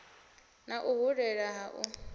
na u hulela ha u